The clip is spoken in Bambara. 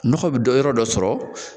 Nɔgɔ bɛ dɔ yɔrɔ dɔ sɔrɔ